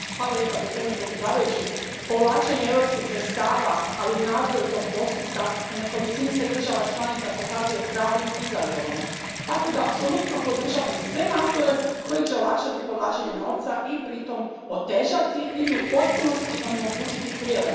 Poštovani predsjedavajući, povlačenje europskih sredstava, ali i nadzor tog postupka, u nekolicini se država članica pokazuje pravim izazovom tako da apsolutno podržavam sve napore koji će olakšati povlačenje novca i pritom otežati ili u potpunosti onemogućiti prijevare.